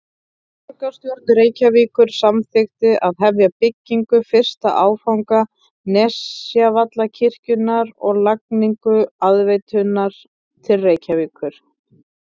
Borgarstjórn Reykjavíkur samþykkti að hefja byggingu fyrsta áfanga Nesjavallavirkjunar og lagningu aðveituæðar til Reykjavíkur.